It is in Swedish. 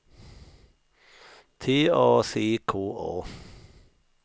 T A C K A